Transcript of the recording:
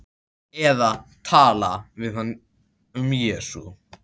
Eða tala við hann um Jesú.